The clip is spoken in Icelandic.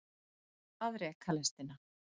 Að reka lestina